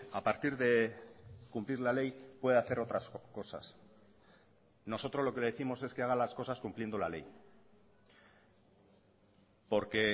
a partir de cumplir la ley puede hacer otras cosas nosotros lo que le décimos es que haga las cosas cumpliendo la ley porque